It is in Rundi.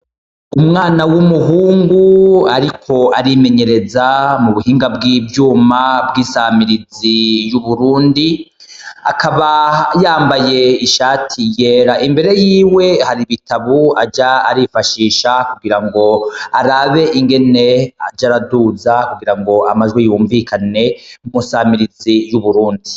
Umwana w'umuhungu ariko arimenyereza mubuhinga bw'ivyuma bw'isamirizi y'uburundi akaba yambaye ishati yera imbere yiwe hakaba hari Ibitabu aja arifashisha kugirango arabe ingene aja araduza kugira amajwi yumvikane mw'isamirizi y'uburundi .